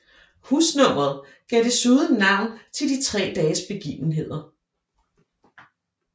Husnummeret gav desuden navn til de tre dages begivenheder